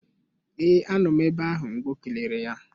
Ee anọ m ebe ahụ mgbe ọ kelere ya